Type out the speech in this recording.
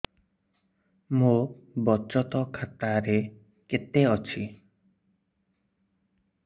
ମୋ ବଚତ ଖାତା ରେ କେତେ ଅଛି